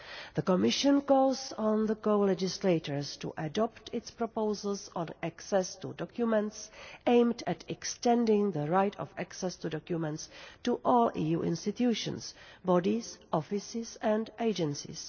The Commission calls on the co-legislators to adopt its proposals on access to documents aimed at extending the right of access to documents to all EU institutions, bodies, offices and agencies.